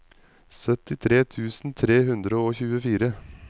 syttitre tusen tre hundre og tjuefire